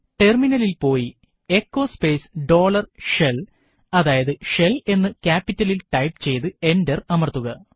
ടെർമിനലിൽ പോയി echo space dollar shell shell എന്ന് ക്യാപിറ്റൽസ് ഇൽ ടൈപ്പ് ചെയ്തു എന്റർ അമർത്തുക